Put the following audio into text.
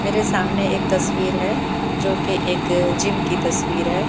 मेरे सामने एक तस्वीर है जो की एक जिम की तस्वीर है।